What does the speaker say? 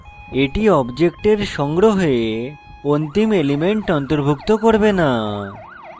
এটি অবজেক্টের সংগ্রহে অন্তিম element অন্তর্ভুক্ত করবে non